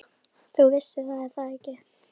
Þú vissir það, er það ekki?